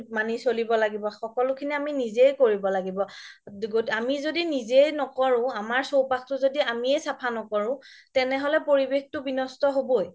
মানি চলিব লাগিব সকলো খিনি আমি নিজেই কৰিব লাগিব আমি যদি নিজেই নকৰো আমাৰ চৌপাশটো আমিয়ে চাফা নকৰো তেনেহ'লে পৰিৱেশটো বিনস্ত হবৈ